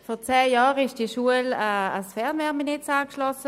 Vor zehn Jahren wurde diese Schule ans Fernwärmenetz angeschlossen.